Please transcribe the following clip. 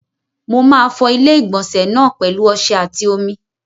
Mo máa fọ ilé-ìgbọ̀nsẹ̀ náà pẹ̀lu ọsẹ àti omi.